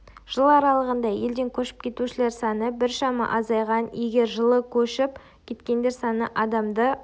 жыл аралығында елден көшіп кетушілер саны біршама азайған егер жылы көшіп кеткендер саны адамды